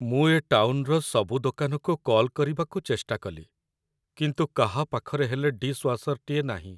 ମୁଁ ଏ ଟାଉନ୍‌ର ସବୁ ଦୋକାନକୁ କଲ୍ କରିବାକୁ ଚେଷ୍ଟା କଲି, କିନ୍ତୁ କାହା ପାଖରେ ହେଲେ ଡିଶ୍‌ୱାଶର୍‌ଟିଏ ନାହିଁ ।